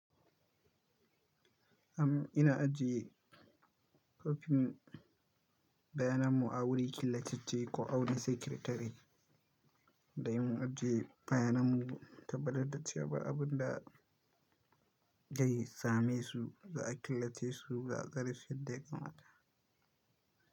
Am ina ajiye kwafin bayananmu a wuri kilacace ko a wani sekiritare da yawan ajiye bayananmu taɓbataciya ba abin da zai same su za a killace su za'a. Garfin da ya kamata.